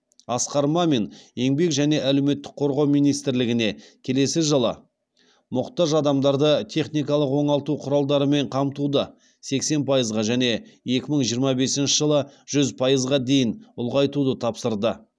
асқар мамин еңбек және әлеуметтік қорғау министрлігіне келесі жылы мұқтаж адамдарды техникалық оңалту құралдарымен қамтуды сексен пайызға және екі мың жиырма бесінші жылы жүз пайызға дейін ұлғайтуды тапсырды